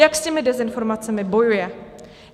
Jak s těmi dezinformacemi bojuje?